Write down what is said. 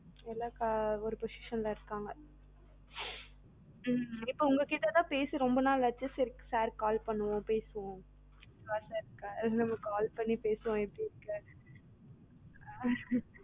எல்லா க ஒரு position ல இருக்காங்க, ஹம் இப்ப உங்ககிட்ட தான் பேசி ரொம்ப நாள் ஆச்சே சரி இப்ப sir க்கு call பண்ணுவோம் பேசுவோம் நம்ம இப்போ call பண்ணி பேசுவோம் sir க்கு